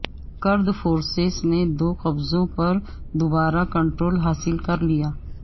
کرد فورسز نے دو قصبوں پر دوبارہ کنٹرول حاصل کر لیا